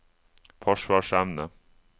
forsvarsevne